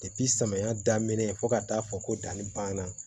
samiya daminɛ fo ka taa fɔ ko danni banna